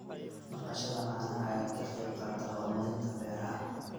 Dhaqashada caanaha ayaa ka qayb qaadata horumarinta beeraha.